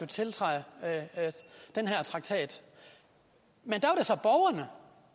tiltræde den her traktat men